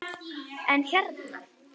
En hérna.